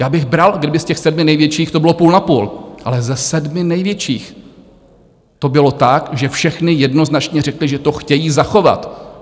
Já bych bral, kdyby z těch sedmi největších to bylo půl na půl, ale ze sedmi největších to bylo tak, že všechny jednoznačně řekly, že to chtějí zachovat.